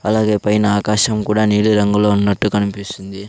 అలాగే పైన ఆకాశం కూడా నీలిరంగులో ఉన్నట్టు కనిపిస్తుంది.